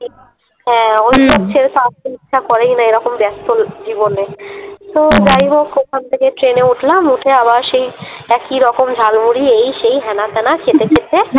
হ্যাঁ ওইসব ছেড়ে তো আস্তে ইচ্ছা করেই না এরকম ব্যস্ত জীবনে। তো যাইহোক ওখান থেকে ট্রেনে উঠলাম, উঠে আবার সেই একই রকম ঝালমুড়ি এই সেই হ্যানা ত্যানা খেতে খেতে